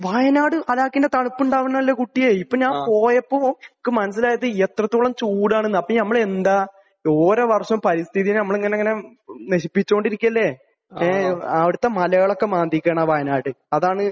വയനാട് ഹലാക്കിന്റെ തണുപ്പ് ഉണ്ടാവേണ്ടതല്ലേ കുട്ടിയെ. ഇപ്പോൾ ഞാൻ പോയപ്പോൾ എനിക്ക് മനസ്സിലായത് എത്രത്തോളം ചൂടാണെന്നാണ്. അപ്പോൾ നമ്മൾ എന്താണ്? ഓരോ വർഷവും പരിസ്ഥിതിയെ നമ്മൾ ഇങ്ങനെ ഇങ്ങനെ നശിപ്പിച്ചുകൊണ്ടിരിക്കുകയല്ലേ. ഏഹ്. അവിടുത്തെ മലകളൊക്കെ മാന്തിയിരിക്കുകയാണ് ആ വയനാട്. അതാണ്